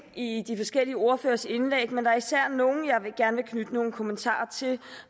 i de forskellige ordføreres indlæg men der er især nogle jeg gerne vil knytte nogle kommentarer til